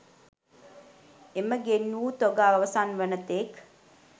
එම ගෙන් වූ තොග අවසන් වන තෙක්